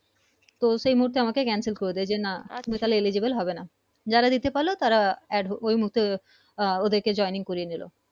তো সেই মুহুতে আমাকে Cancel করে দেয় যে না Eligible হবে না যারা দিতে পারল তারা Add ওই মুহুতে আহ ওদের কে joining করিয়ে নিলো